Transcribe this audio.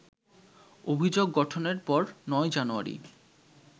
অভিযোগ গঠনের পর ৯ জানুয়ারি